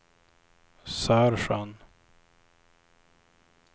Sörsjön